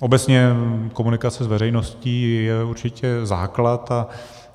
Obecně komunikace s veřejností je určitě základ